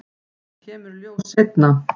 Það kemur í ljós seinna.